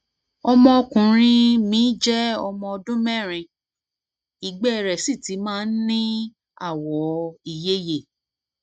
ọmọkùnrin um mi jẹ ọmọ ọdún mẹrin ìgbẹ rẹ sì ti máa ń ní ní àwọ ìyeyè